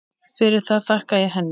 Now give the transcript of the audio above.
Fyrir það þakka ég henni.